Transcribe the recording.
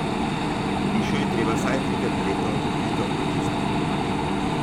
Hišo je treba vsaj trikrat na leto temeljito očistiti.